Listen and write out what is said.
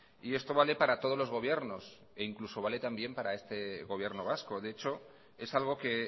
y esto vale para todos los gobiernos e incluso vale también para este gobierno vasco de hecho es algo que